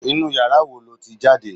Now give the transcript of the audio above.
Inú yàrá wo lo ti jáde